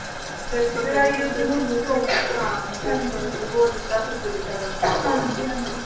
ਜਿਹੜਾ ਯੁੱਧ ਨੂੰ ਬਿਲਕੁਲ ਡੁਬੋ ਦਿੱਤਾ ਸੀ ਪੂਰੀ ਤ੍ਰਾਹ ਹਾਂਜੀ ਹਾਂਜੀ